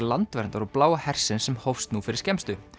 Landverndar og Bláa hersins sem hófst nú fyrir skemmstu